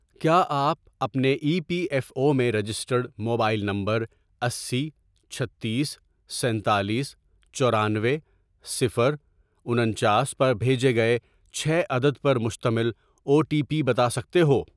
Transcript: کیا آپ اپنے ای پی ایف او میں رجسٹرڈ موبائل نمبر اسی، چھتیس، سینتالیس، چورانوے، صفر، انچاس، پر بھیجے گئے چھ عدد پر مشتمل او ٹی پی بتا سکتے ہو؟